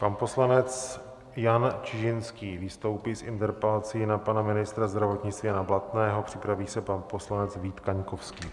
Pan poslanec Jan Čižinský vystoupí s interpelací na pana ministra zdravotnictví Jana Blatného, připraví se pan poslanec Vít Kaňkovský.